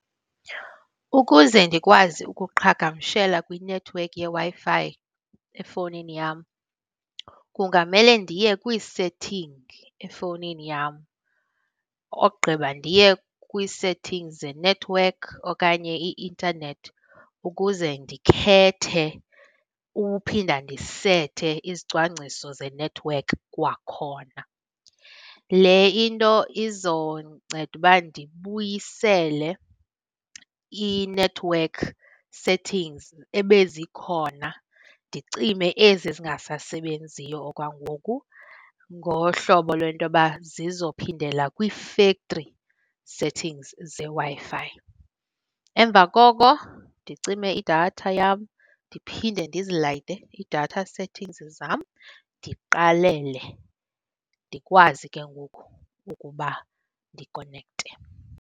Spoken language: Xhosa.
Ukuze ndikwazi ukuqhagamshela kwinethiwekhi yeWi-Fi efowunini yam, kungamele ndiye kwii-setting efowunini yam. Ogqiba ndiye kwii-settings zenethiwekhi okanye i-intanethi ukuze ndikhethe uphinda ndisethe izicwangciso zenethiwekhi kwakhona. Le into izonceda uba ndibuyisele i-network settings ebezikhona, ndicime ezi zingasasebenziyo okwangoku, ngohlobo lwento yoba zizophindela kwii-factory settings zeWi-Fi. Emva koko ndicime idatha yam. Ndiphinde ndizilayite iidatha settings zam, ndiqalele, ndikwazi ke ngoku ukuba ndikonekte.